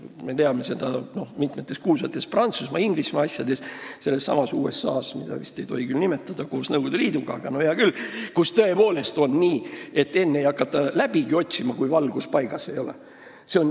Me teame, et mitmes kuulsas Prantsusmaa, Inglismaa ja sellesama USA asjas – seda vist ei tohi küll nimetada, nagu ka Nõukogude Liitu – on tõepoolest nii olnud, et enne ei hakata läbigi otsima, kui valgus paigas ei ole.